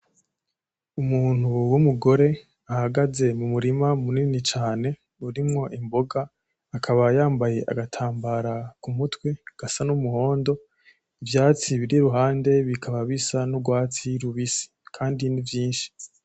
Umuntu w’umugore ahagaze mu murima munini cane urimwo Imboga, akaba yambaye agatambara ku mutwe gasa n’umuhondo, ivyatsi biri iruhande bikaba bisa n’urwatsi rubisi kandi ni vyinshi.